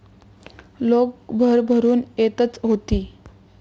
लोक भरभरून येतच होती.